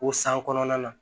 O san kɔnɔna na